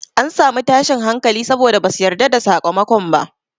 An samu tashin hankali saboda basu yarda da sakamakon ba.